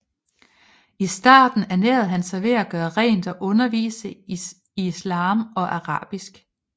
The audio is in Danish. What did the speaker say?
I starten ernærede han sig ved at gøre rent og undervise i islam og arabisk